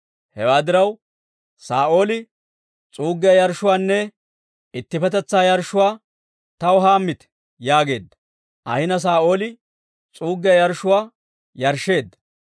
Hewaa diraw, Saa'ooli, «S'uuggiyaa yarshshuwaanne ittippetetsaa yarshshuwaa taw hammite» yaageedda; ahina Saa'ooli s'uuggiyaa yarshshuwaa yarshsheedda.